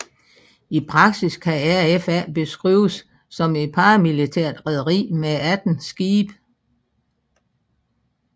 I praksis kan RFA beskrives som et paramilitært rederi med 18 skibe